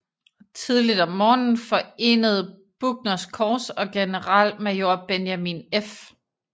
Tidligt om morgenen forenede Buckners korps og generalmajor Benjamin F